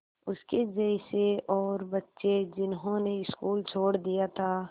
उसके जैसे और बच्चे जिन्होंने स्कूल छोड़ दिया था